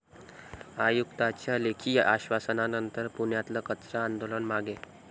आयुक्तांच्या लेखी आश्वासनानंतर पुण्यातलं कचरा आंदोलन मागे